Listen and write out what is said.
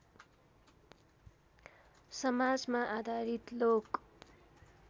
समाजमा आधारित लोक